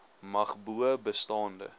mag bo bestaande